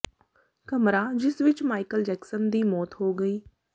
ਕਮਰਾ ਜਿਸ ਵਿੱਚ ਮਾਈਕਲ ਜੈਕਸਨ ਦੀ ਮੌਤ ਹੋ ਗਈ